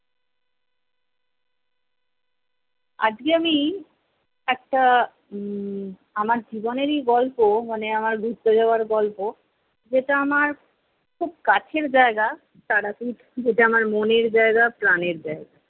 আজকে আমি একটা উম আমার জীবনেরই গল্প মানে আমার ঘুরতে যাওয়ার গল্প যেটা আমার খুব কাছের জায়গা তারাপীঠ যেটা আমার মনের জায়গা প্রাণের জায়গা,